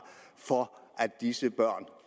for at disse børn